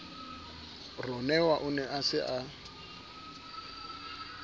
ronewa o ne a sa